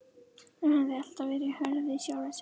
Hún hafði alltaf verið hörð við sjálfa sig.